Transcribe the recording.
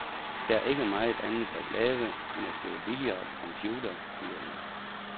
Der er ikke meget andet at lave end at spille billard og computer, siger hun.